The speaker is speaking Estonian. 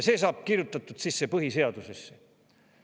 See saab kirjutatud sisse põhiseadusesse.